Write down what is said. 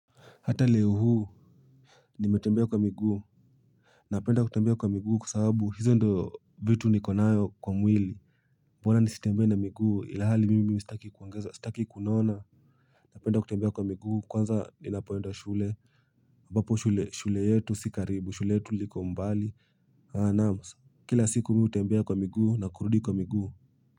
Hata leo hii, nimetembea kwa miguu. Napenda kutembea kwa miguu kwa sababu hizo ndo vitu nikonazo kwa mwili Mbona nisitembee na miguu ila hali mimi sitaki kuongeza kilo. Napenda kutembea kwa miguu kwanza ninapoenda shuleni ambapo shule yetu sio karibu, shule yetu iko mbali. Alas kila siku mimi hutembea kwa miguu na kurudi kwa miguu.